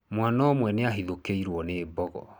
Mwaana ũmwe nĩ ahithũkĩirũo nĩ mbogo.